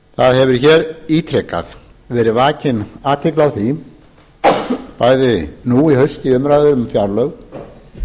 það hefur hér ítrekað verið vakin athygli á því bæði nú í haust í umræðu um fjárlög og